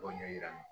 Dɔ ɲɛ yir'an na